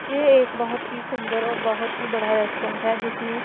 ये एक बहोत ही सुंदर और बहोत ही बड़ा रेस्टोरेंट है जिसमें--